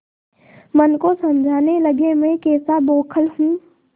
मन को समझाने लगेमैं कैसा बौखल हूँ